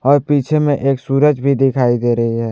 और पीछे में एक सूरज भी दिखाई दे रही है।